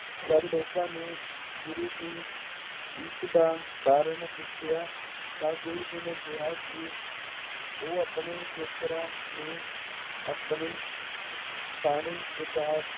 ਜਦ ਲੋਕਾਂ ਨੂੰ ਗੁਰੂ ਜੀ ਇਸਦਾ ਕਾਰਨ ਪੁੱਛਿਆ ਤਾਂ ਗੁਰੂ ਜੀ ਨੇ ਕਿਹਾ ਕਿ ਉਹ ਆਪਣੇ ਖੇਤਰਾਂ ਨੂੰ ਆਪਣੀ ਪਾਣੀ ਪਹੁੰਚਾ